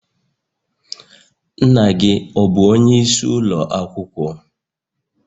Nna gi ọ bu onye isi ulo akwukwo?